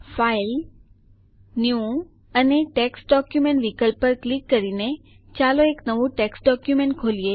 file new અને text document વિકલ્પ પર ક્લિક કરીને ચાલો એક નવું ટેક્સ્ટ ડોકયુમેન્ટ ખોલીએ